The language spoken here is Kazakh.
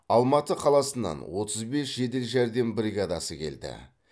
алматы қаласынан отыз бес жедел жәрдем бригадасы келді